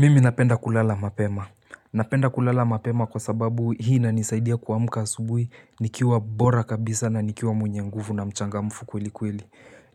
Mimi napenda kulala mapema. Napenda kulala mapema kwa sababu hii inanisaidia kuamka asubuhi nikiwa bora kabisa na nikiwa mwenye nguvu na mchangamfu kweli kweli.